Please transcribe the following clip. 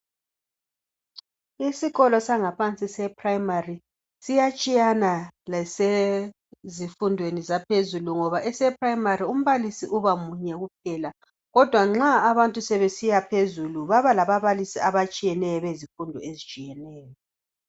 Isikolo sangaphansi seprimary siyatshiyana lesezifundweni zaphezulu ngoba ese primary umbalisi uba munye kuphela kodwa nxa abantu sebesiya phezulu baba lababalisi abatshiyeneyo bezifundo ezitshiyeneyo.